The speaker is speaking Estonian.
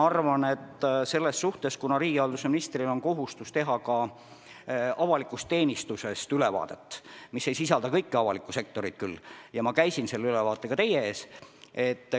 Riigihalduse ministril on kohustus teha avalikust teenistusest ülevaadet – see küll ei hõlma kogu avalikku sektorit – ja ma käisin selle ülevaatega teie ees.